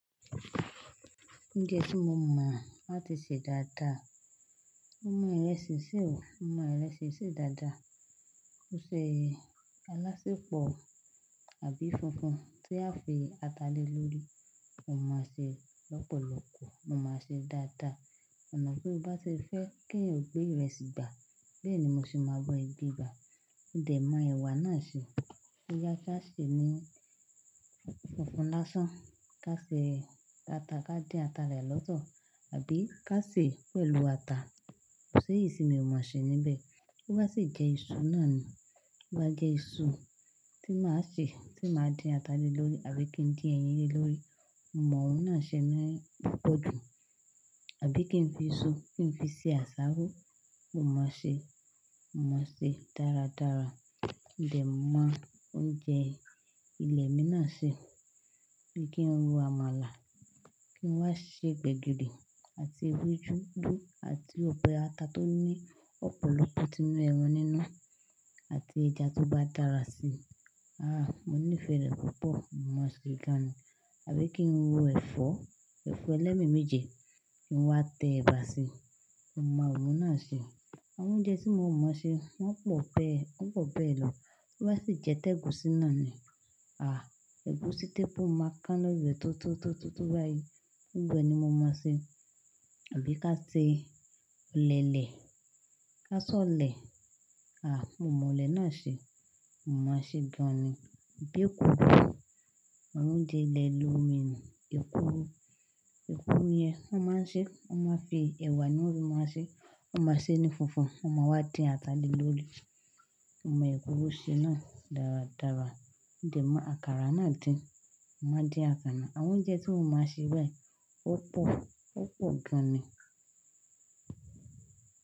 Oúnjẹ tí mo mọ láti sè dáadáa, mo mọ ìrẹsì sè o, mo mọ ìrẹsì sè dáadáa. Bó ṣẹ̀ alásèpọ̀ àbí funfun tí a fi ata lè lórí. Mo mọ ṣe lọ́pọ̀lọpọ̀, mo mọ ṣe dáadáa. Ọ̀nà tí o bá ti fẹ́ kí èèyàn gbé ìrẹsì gbà, bẹ́ẹ̀ ni mo sì máa ba ẹ̀ gbegbà. Dè mo ẹwà náà ṣe o. Bíyá ká sè ní funfun lásán, ká sè ata, ká dín ata rẹ lọ́tọ̀, àbí ká sè pẹ̀lú ata. Kò sí irú sí mi ó mọ̀ ṣe níbẹ̀. Tó bá sì jẹ́ iṣu náà ni, ó bá jẹ́ iṣu tí màá ṣe tí màá dín ata lè lórí àbí kí n dín ẹyin lé lórí, mo mọ̀ oún náà ṣe ni lọ́pọ̀. Àbí kí n fi iṣu, kí n fi ṣe àsáró, mo mọ̀ ṣe, mo mọ̀ ṣe dáradára. Dẹ̀ mo oúnjẹ ilẹ̀ mi náà ṣe. Bí kí n rò àmàlà, kí n wá ṣe gbẹ́gìrì. Àti uju ugwu àti ọbẹ̀ atá tó ní ọ̀pọ̀lọpọ̀ tó ní ẹran nínú àti ẹja tó bá dára sí. Àh! Mo nífẹ̀ẹ́ rẹ̀ púpọ̀, mo mọ̀ ṣe gan ni. Àbí kí n ro ẹ̀fọ́, ẹ̀fọ́ ẹlẹ́mi méje kí n wá tẹ ẹ̀bà sí i, mo mọ̀ oún náà ṣe. Àwọn oúnjẹ tí mo mọ̀ ṣe wọ́n pọ̀ ẹ́, wọ́n pọ̀ bẹ́ lọ. Tó bá sì jẹ́ tẹ́gùsín náà ni, àh! Ẹ̀gúsí t'épo máa máa kán lórí rẹ̀ tó tó tó báyìí, gbogbo ẹ̀ ni mo máa ṣe. Tàbí ká ṣe ọ̀lẹ̀lẹ̀, ká ṣọ̀lẹ̀. Mo mọ̀ọ̀lẹ̀ náà ṣe, mo máa ṣeé gan-an ni. Bíi eku, àwọn oúnjẹ ilẹ̀ ìlú mi ni. Èkuru. Èkuru yẹn wọ́n máa ń n ṣeé, bí ẹwà ni wọ́n ṣe máa ṣeé. Wọ́n máa sèé ní fínfún, wọ́n máa wá dín ata lè lórí. Mo mọ èkuru ṣe náà dáradára. Mo dẹ̀ mọ àkàrà náà dín, n màá ń dín àkàrà. Àwọn oúnjẹ tí mo máa ṣe bẹ́ẹ̀, ó pọ̀, ó pọ̀ gan ni.